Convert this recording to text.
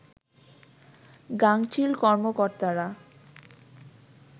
গাঙচিল কর্মকর্তারা